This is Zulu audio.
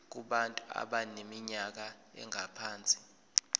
kubantu abaneminyaka engaphansi